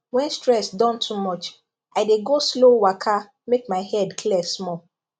when stress don too much i dey go slow waka make my head clear small